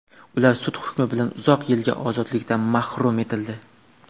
Ular sud hukmi bilan uzoq yilga ozodlikdan mahrum etildi.